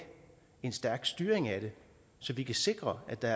en stærk styring af det så vi kan sikre at der